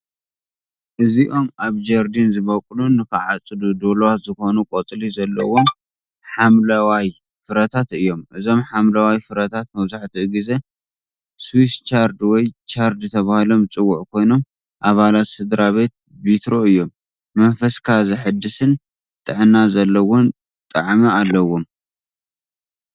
እዚኦም ኣብ ጀርዲን ዝበቁሉን ንኽዓጽዱ ድሉዋት ዝኾኑን ቆጽሊ ዘለዎም ሓምለዋይ ፍረታት እዮም። እዞም ሓምለዋይ ፍረታት መብዛሕትኡ ግዜ "ስዊስ ቻርድ" ወይ "ቻርድ" ተባሂሎም ዝጽውዑ ኮይኖም ኣባላት ስድራቤት ቢትሮ እዮም። መንፈስካ ዘሐድስን ጥዕና ዘለዎን ጣዕሚ ኣለዎም።